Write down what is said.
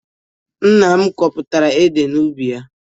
Nna m kọpụtara ede n'ubi ya.